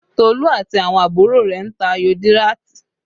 Tolu àti àwọn àbúrò rẹ̀ ń ta ayò díràtì